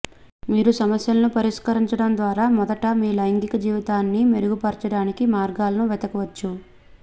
మీరు సమస్యలను పరిష్కరించడం ద్వారా మొదట మీ లైంగిక జీవితాన్ని మెరుగుపర్చడానికి మార్గాలను వెతకవచ్చు